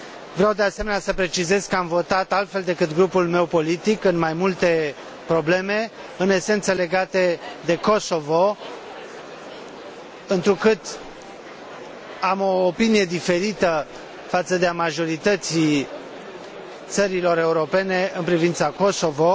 Vreau, de asemenea, să precizez că am votat altfel decât grupul meu politic în mai multe probleme, în esență legate de Kosovo, întrucât am o opinie diferită față de a majorității țărilor europene în privința Kosovo.